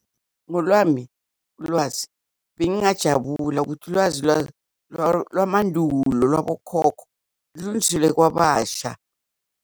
Ngolwami ulwazi bengingajabula ukuthi ulwazi lwamandulo lwabokhokho lunjule kwabasha.